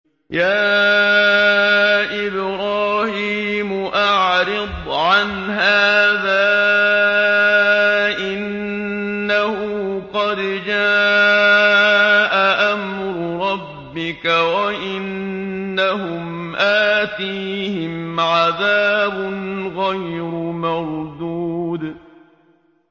يَا إِبْرَاهِيمُ أَعْرِضْ عَنْ هَٰذَا ۖ إِنَّهُ قَدْ جَاءَ أَمْرُ رَبِّكَ ۖ وَإِنَّهُمْ آتِيهِمْ عَذَابٌ غَيْرُ مَرْدُودٍ